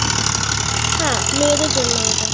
হ্যাঁ মেয়েদের জন্যই ওটা